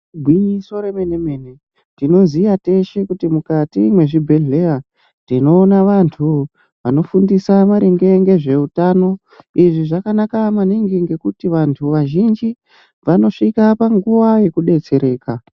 Igwinyiso remene mene tinoziya teshe kuti mukati mwezvibhehleya tinoona vantu vanofundisa maringe ngezveutano izvi zvakanaka maningi ngekuti vantu vazhinji vanosvika panguwa yekudetsereka